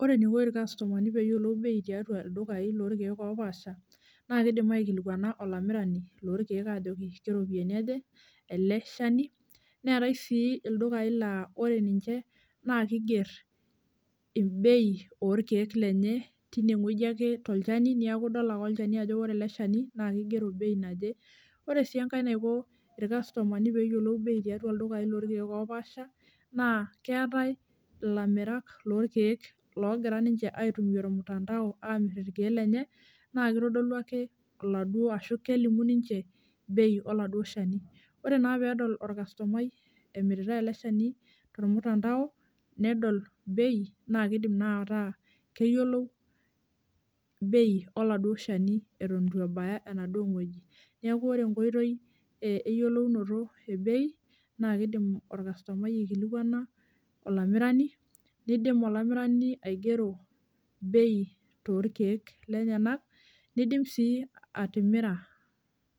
Ore eniko irkastomani peyiolou bei tiatua ildukai lorkiek opaasha, naa kidim aikilikwana olamirani lorkiek ajoki keropiyiani aja ele shani , neetae sii iludukai laa ore ninche naa kigei bei orkiek lenye tine wueji ake tolchani niaku idol ake olchani ajo ore ele shani naa kigero bei naje . Ore sienkae naiko irkastomani peyiolou bei tiatua ildukai lorkiek loopasha naa keetae ilamirak lorkiek logira ninche aitumia ormutandao amir ikiek lenye naa kitodolu ake ashu kelimu ninche bei oladuo shani. Ore naa pedol orkastomai emiritae ele shani tormutandao nedol bei naa kidim naa ataa keyieolu bei oladuo shani eton itu ebaya enaduo wueji . Niaku ore enkoitoi e eyiolounoto ebei naa kidim orkastomai aikilikwana olamirani , nindim olamirani aigero bei torkiek lenyenak , nindim si atimira,